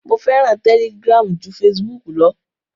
Mo fẹ́ràn Telegram ju Facebook lọ.